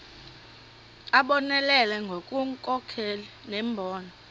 abonelele ngobunkokheli nembono